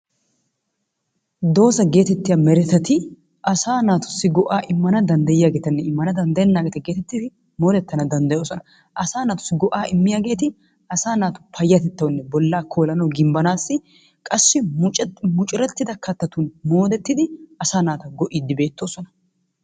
Doozaa getettiya meretatti asa naatussi go"a immana danddayiyaagetanne immana danddayenageeta geetettidi moodetana danddayoosona. Asa naatussi go"a immana danddayiyaageeti asa naatu payyatettanawunne bolla koolanaw gimbbanassi qassi muccurettida kattatun moodetidi asaa naata go"idi beettoosona.